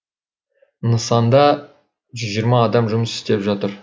нысанда жүз жиырма адам жұмыс істеп жатыр